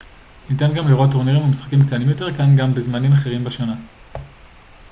ניתן גם לראות טורנירים ומשחקים קטנים יותר כאן בזמנים אחרים בשנה